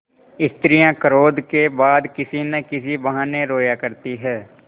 स्त्रियॉँ क्रोध के बाद किसी न किसी बहाने रोया करती हैं